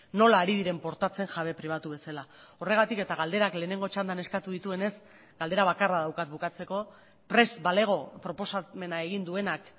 nola ari diren portatzen jabe pribatu bezala horregatik eta galderak lehenengo txandan eskatu dituenez galdera bakarra daukat bukatzeko prest balego proposamena egin duenak